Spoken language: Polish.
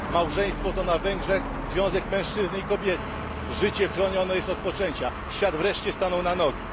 Małżeństwo to na Węgrzech związek mężczyzny i kobiety, życie chronione jest od poczęcia, świat wreszcie stanął na nogi.